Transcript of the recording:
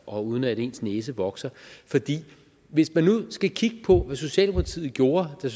og uden at ens næse vokser hvis man nu skal kigge på hvad socialdemokratiet gjorde da